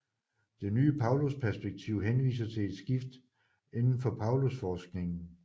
Det nye Paulusperspektiv henviser til et skift inden for Paulusforskningen